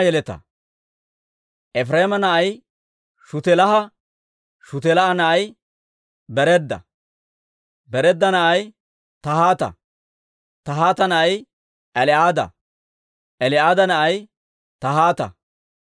Efireema na'ay Shutelaaha; Shutelaaha na'ay Bereeda; Bereeda na'ay Tahaata; Tahaata na'ay El"aada; El"aada na'ay Tahaata;